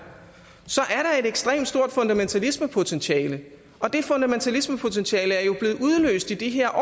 så er der et ekstremt stort fundamentalismepotentiale og det fundamentalismepotentiale er jo blevet udløst i de her